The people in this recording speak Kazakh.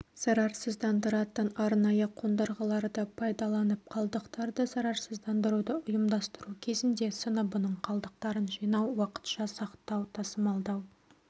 зарарсыздандыратын арнайы қондырғыларды пайдаланып қалдықтарды зарарсыздандыруды ұйымдастыру кезінде сыныбының қалдықтарын жинау уақытша сақтау тасымалдау